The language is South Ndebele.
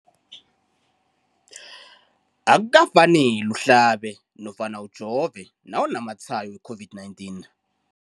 Akuka faneli uhlabe nofsana ujove nawu namatshayo we-COVID-19 .